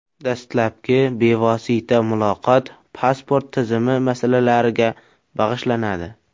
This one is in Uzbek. Dastlabki bevosita muloqot pasport tizimi masalalariga bag‘ishlanadi.